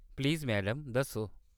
Please madam दस्सो।